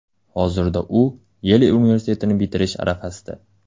Hozirda u Yel universitetini bitirish arafasida.